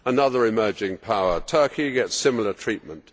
Another emerging power, Turkey, gets similar treatment.